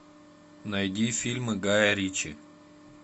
найди фильмы гая ричи